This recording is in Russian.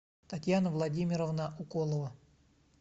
татьяна владимировна уколова